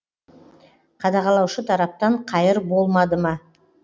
қадағалаушы тараптан қайыр болмады ма